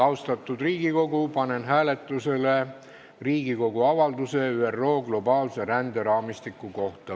Austatud Riigikogu, panen hääletusele Riigikogu avalduse "ÜRO globaalse ränderaamistiku" eelnõu kohta.